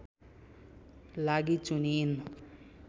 लागि चुनिइन्